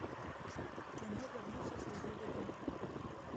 кино вернулся служивый домой